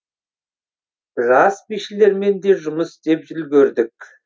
жас бишілермен де жұмыс істеп үлгердік